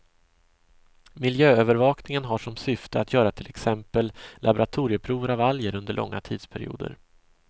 Miljöövervakningen har som syfte att göra till exempel laboratorieprover av alger under långa tidsperioder.